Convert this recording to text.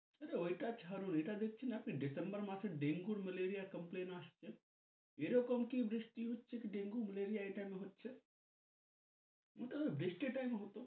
ঐটা ছারুন এইটা দেখেছন আপনি? December মাসের dengue, malaria complain আসতে? এরকম কি বৃষ্টি হচ্ছে dengue, malaria এই time এ হচ্ছে? এটা বৃষ্টির time হত।